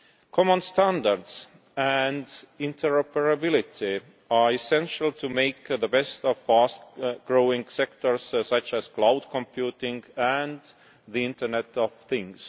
Common standards and interoperability are essential to make the best of fast growing sectors such as cloud computing, and the Internet of Things.